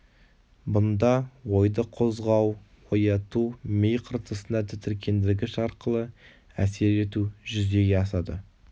бұнда ойды қозғау ояту ми қыртысына тітіркендіргіш арқылы әсер ету жүзеге асады